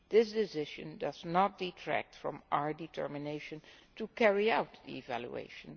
This decision does not detract from our determination to carry out the evaluation.